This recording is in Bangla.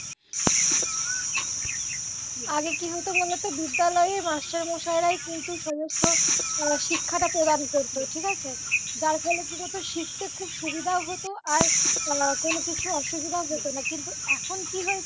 আগে কি হত বল তো বিদ্যালয়ে মাস্টারমশাইরাই সমস্ত শিক্ষাটা প্রদান করতো ঠিকাছে যার ফলে কি হত শিখতে খুব সুবিধাও হত আর কোনও কিছু অসুবিধাও হত না কিন্তু এখন কি হয়ে